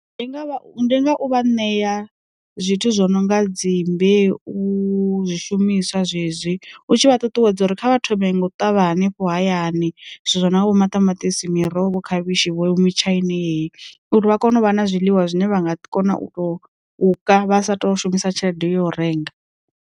Ndi nga u vha ṋea zwithu zwo no nga dzi mbeu, zwishumiswa zwezwi, u tshi vha ṱuṱuwedza uri kha vha thome nga u ṱavha hanefho hayani zwithu zwo no nga vho maṱamaṱisi, miroho, khavhishi vho mutshaini heyi uri vha kone u vha na zwiḽiwa zwine vha nga kona u to u ka vha sa tou shumisa tshelede ya u renga.